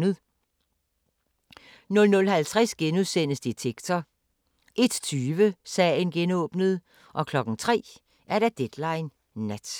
00:50: Detektor * 01:20: Sagen genåbnet 03:00: Deadline Nat